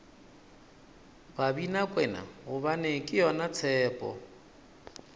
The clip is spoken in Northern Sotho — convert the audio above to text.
babinakwena gobane ke yona tshepo